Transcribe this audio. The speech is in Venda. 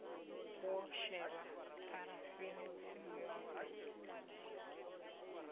wo shelwa pharafeni tsimu dzoṱhe